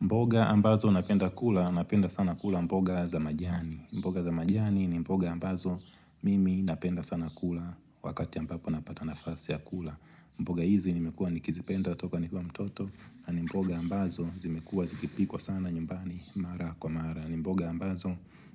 Mboga ambazo napenda kula, napenda sana kula mboga za majani mboga za majani ni mboga ambazo mimi napenda sana kula wakati ambapo napata nafasi ya kula mboga hizi nimekua nikizipenda toka nikue mtoto na ni mboga ambazo zimekua zikipikwa sana nyumbani mara kwa mara ni mboga ambazo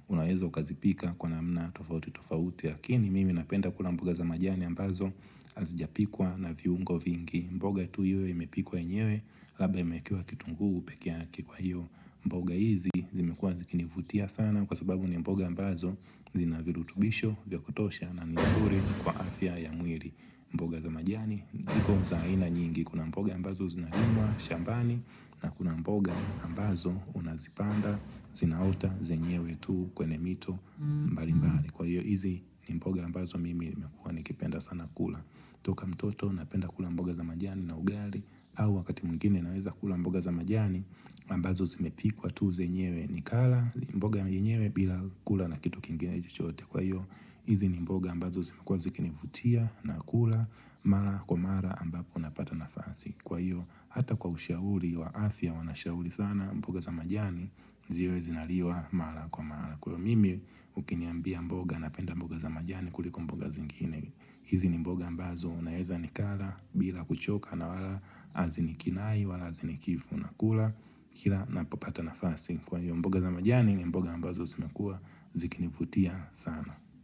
unaweza ukazipika kwa namna tofauti tofauti Lakini mimi napenda kula mboga za majani ambazo Hazijapikwa na viungo vingi mboga tu iwe imepikwa yenyewe Labda imewekewa kitungu pekeyake kwa hio mboga hizi zimekuwa zikinivutia sana Kwa sababu ni mboga ambazo zinavirutubisho vyakutosha na ni nzuri kwa afya ya mwili mboga za majani iko za aina nyingi Kuna mboga ambazo zinalimwa shambani na kuna mboga ambazo unazipanda Zinaota zenyewe tu kwenye mito mbali mbali Kwa hiyo hizi ni mboga ambazo mimi nimekuwa nikipenda sana kula toka mtoto napenda kula mboga za majani na ugali au wakati mwengine naweza kula mboga za majani ambazo zimepikwa tu zenyewe nikala mboga yenyewe bila kula na kitu kingine chochote Kwa hiyo hizi ni mboga ambazo zimekuwa zikinivutia na kula mara kwa mara ambapo napata nafasi Kwa hiyo hata kwa ushauri wa afya wanashauri sana mboga za majani ziwe zinaliwa mara kwa mara Kwa mimi ukiniambia mboga napenda mboga za majani kuliko mboga zingine hizi ni mboga ambazo unaeza nikala bila kuchoka na wala hazini kinai, wala hazini kifu nakula kila napopata nafasi kwa hiyo mboga za majani ni mboga ambazo zimekua zikinivutia sana.